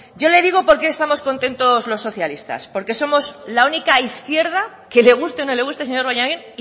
yo le digo por qué estamos contentos los socialistas porque somos la única izquierda que le guste o no le guste señor bollain